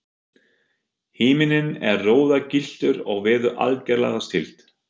Himinninn er roðagylltur og veður algerlega stillt.